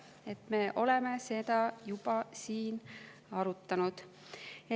Nii et me oleme seda juba siin arutanud.